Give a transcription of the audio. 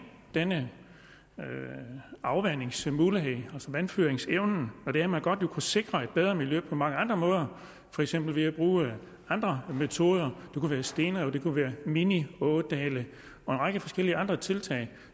denne afvandingsmulighed altså vandføringsevnen og det at man godt vil kunne sikre et bedre miljø på mange andre måder for eksempel ved at bruge andre metoder det kunne være stenrev og det kunne være mini ådale og en række forskellige andre tiltag